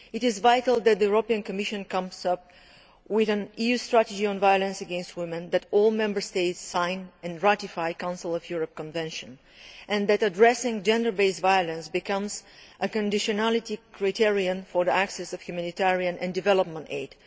It is vital that the European Commission comes up with an EU strategy on violence against women, that all Member States sign and ratify the Council of Europe Convention, and that addressing gender based violence becomes a conditionality criterion for access to humanitarian and development aid.